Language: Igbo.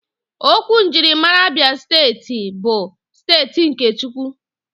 Okwu njirimara Abia Steeti bụ "steeti nke Chukwu"